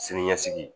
Sini ɲɛsigi